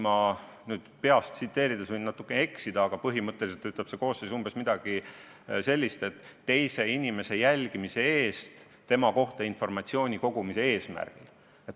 Ma peast tsiteerides võin natuke eksida, aga põhimõtteliselt ütleb see koosseis umbes midagi sellist, et karistatakse teise inimese jälgimise eest tema kohta informatsiooni kogumise eesmärgil.